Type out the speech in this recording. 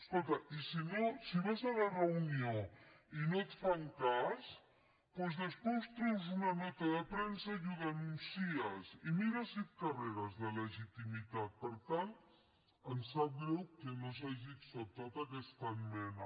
escolta i si no si vas a la reunió i no et fan cas doncs després treus una nota de premsa i ho denuncies i mira si et carregues de legitimitat per tant ens sap greu que no s’hagi acceptat aquesta esmena